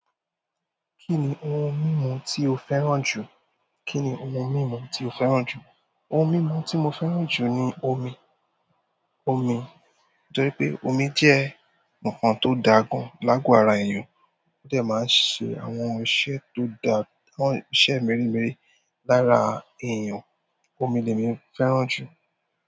Kí ni ohun mímu tí o fẹ́ràn jù? Kí ni ohun mímu tí o fẹ́ràn jù? Ohun mimu ti mo fẹ́ràn ju ni omi, omi. Nítorí pé omi jẹ́ ǹkan tó dáa gan lágo ara èèyàn, ó de máa ń ṣe àwọn iṣẹ́ tó dá, àwọn iṣẹ́ mẹ́rẹ̀mẹ̀rẹ̀ lára èèyàn. Omi ni èmi fẹ́ràn jù.